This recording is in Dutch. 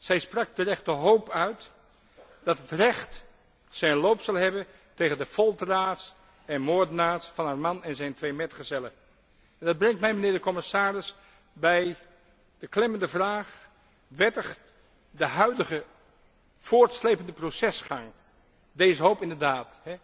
Zij sprak terecht de hoop uit dat het recht zijn beloop zal hebben tegen de folteraars en moordenaars van haar man en zijn twee metgezellen. Dat brengt mij, mijnheer de commissaris, bij de klemmende vraag wettigt de huidige voortslepende procesgang deze hoop inderdaad?